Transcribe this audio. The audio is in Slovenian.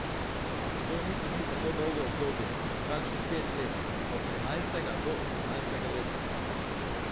To niti ni tako dolgo obdobje, kakšnih pet let, od trinajstega do osemnajstega leta.